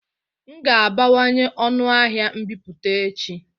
M ga-abawanye ọnụ ahịa mbipụta echi